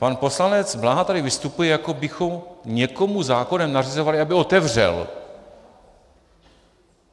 Pan poslanec Bláha tady vystupuje jako bychom někomu zákonem nařizovali, aby otevřel.